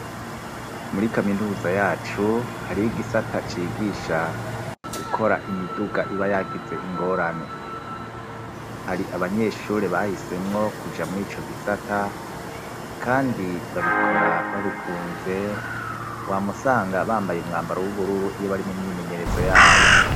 Muri kaminuza yacu hari igisata cigisha gukora imiduga ibayagize ingorane hari abanyeshure bahisemwo kuja muri co gisata, kandi babikora babikunze wa musanga bambaye umwambaro w'ubururu iyo bari mu myimenyerezo yabo.